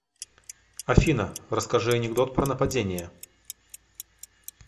афина расскажи анекдот про нападение